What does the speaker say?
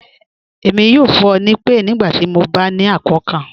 Ẹmi yọ fun ọ ni ipe nigbati mọ ba ni akọọkan.